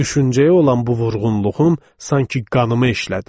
Düşüncəyə olan bu vurğunluğum sanki qanıma işlədi.